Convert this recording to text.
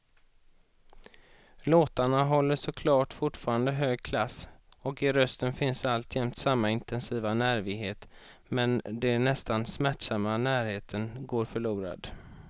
Låtarna håller såklart fortfarande hög klass och i rösten finns alltjämt samma intensiva nervighet, men den nästan smärtsamma närheten går förlorad.